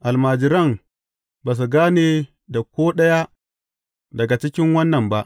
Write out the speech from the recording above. Almajiran ba su gane da ko ɗaya daga cikin wannan ba.